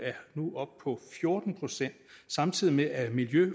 nu er oppe på fjorten pct samtidig med at miljø